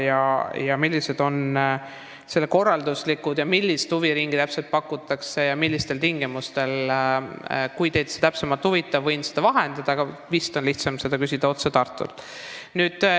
Seda, millised on selle korralduslikud kulud ja milliseid huviringe täpselt pakutakse ja millistel tingimustel, võin teile vahendada, kui see teid täpsemalt huvitab, aga vist on lihtsam küsida seda otse Tartust.